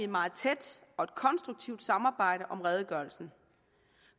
meget tæt og konstruktivt samarbejde om redegørelsen